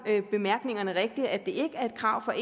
bemærkningerne rigtigt nemlig at det ikke er et krav fra